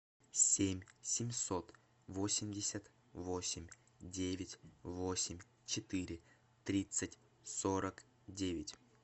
семь семьсот восемьдесят восемь девять восемь четыре тридцать сорок девять